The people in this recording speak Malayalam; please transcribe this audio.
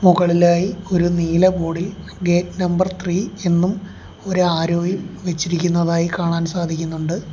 മുകളിലായി ഒരു നീല ബോഡ് ഇൽ ഗേറ്റ് നമ്പർ ത്രീ എന്നും ഒരു ആരോയും വെച്ചിരിക്കുന്നതായി കാണാൻ സാധിക്കുന്നുണ്ട്.